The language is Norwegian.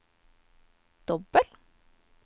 dobbel